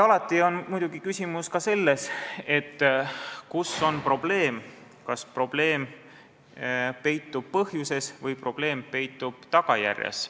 Alati on muidugi küsimus ka selles, kus on probleem, kas probleem peitub põhjuses või tagajärjes.